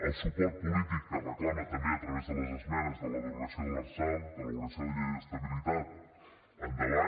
el suport polític que reclama també a través de les esmenes de la derogació de l’lrsal de l’elaboració de llei d’estabilitat endavant